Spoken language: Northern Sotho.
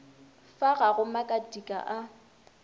fa ga go makatika a